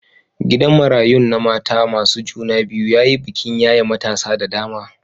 Gidan marayun na mata masu juna biyu ya yi bikin yaye matasa da dama